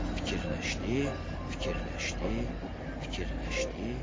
Fikirləşdi, fikirləşdi, fikirləşdi.